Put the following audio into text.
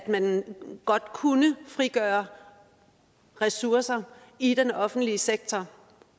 man kunne frigøre ressourcer i den offentlige sektor